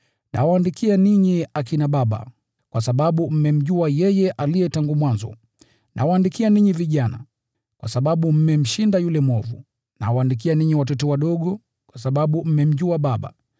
Nawaandikia ninyi, akina baba, kwa sababu mmemjua yeye aliye tangu mwanzo. Nawaandikia ninyi vijana kwa sababu mmemshinda yule mwovu. Nawaandikia ninyi watoto wadogo, kwa sababu mmemjua Baba.